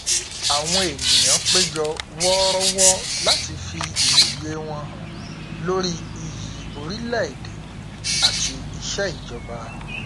àwọn ènìyàn péjọ wọrọwọ láti fi ìwòye wọn hàn lórí iyì orílẹ èdè áti iṣẹ ìjọba